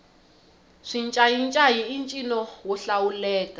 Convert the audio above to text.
xincayincayi i ncino wo hlawuleka